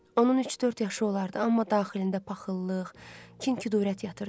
Onun üç-dörd yaşı olardı, amma daxilində paxıllıq, kin-kudurət yatırdı.